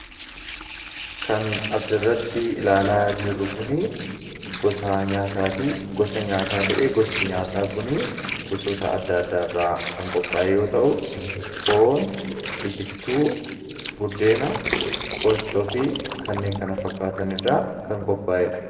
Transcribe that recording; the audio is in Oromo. kan as irratti ilaalaa jirru kunii gosa nyaataa ta'ee gosti nyaataa kunii gosoota adda addaa irraa kan qophaa'e yoo ta'u foon itittuu buddeena qochoo fi kanneen kana fakkaatanirraa kan qophaa'ee dha